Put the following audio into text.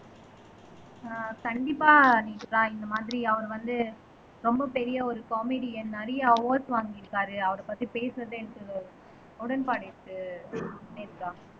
ஆஹ் கண்டிப்பா நேத்ரா இந்த மாதிரி அவர் வந்து ரொம்ப பெரிய ஒரு காமெடியன் நிறைய அவார்ட்ஸ் வாங்கியிருக்காரு அவரைப் பத்தி பேசுறது எனக்கு உடன்பாடு இருக்கு நேத்ரா